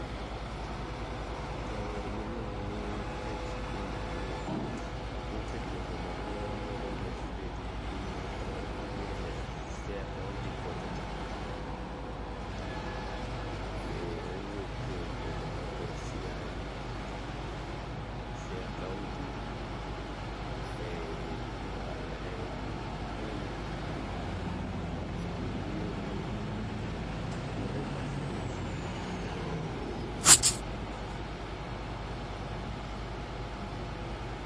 Jawer miluongo ni Prince Indah ni wuok egwenge mag Murumba village ei piny mar Ugenya, Siaya kaonti, kocha cha, owuok e egwenge mag Siaya , Siaya Kaonti ei Ugenya e gweng' m iluongo ni Murumba vileg.